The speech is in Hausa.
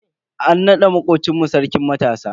An nada makocin mu Sarkin matasa.